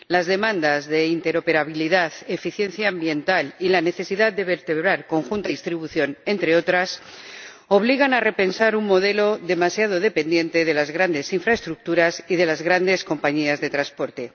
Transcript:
Las demandas de interoperabilidad, eficiencia ambiental y la necesidad de vertebrar conjuntamente la producción y la distribución, entre otras cosas, obligan a repensar un modelo demasiado dependiente de las grandes infraestructuras y de las grandes compañías de transporte.